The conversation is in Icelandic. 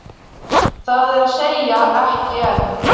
Það er að segja, ekki enn.